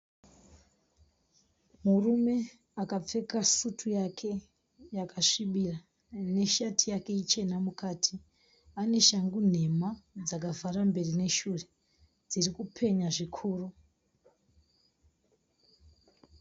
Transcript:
Murume akapfeka sutu yake yakasvibira. Nesheti yake ichena mukati. Ane shangu nhema dzakavhara mberi neshure dzirikupenya zvikuru.